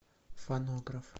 фонограф